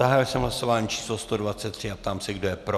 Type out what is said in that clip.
Zahájil jsem hlasování číslo 123 a ptám se, kdo je pro.